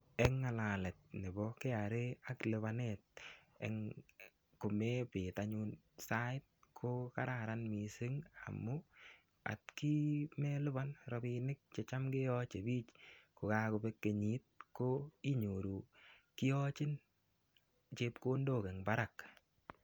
Eng ngalalet nebo KRA ak lupanet eng, komepet anyun sait ko kararan mising amu atkii melupan rapinik che cham keyoche biik kogakobek kenyit ko inyoru kiyachin chepkondok eng barak.